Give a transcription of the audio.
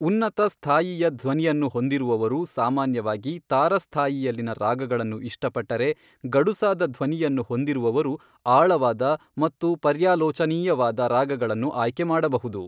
ಉನ್ನತ ಸ್ಥಾಯಿಯ ಧ್ವನಿಯನ್ನು ಹೊಂದಿರುವವರು ಸಾಮಾನ್ಯವಾಗಿ ತಾರ ಸ್ಥಾಯಿಯಲ್ಲಿನ ರಾಗಗಳನ್ನು ಇಷ್ಟಪಟ್ಟರೆ, ಗಡುಸಾದ ಧ್ವನಿಯನ್ನು ಹೊಂದಿರುವವರು ಆಳವಾದ ಮತ್ತು ಪರ್ಯಾಲೋಚನೀಯವಾದ ರಾಗಗಳನ್ನು ಆಯ್ಕೆ ಮಾಡಬಹುದು.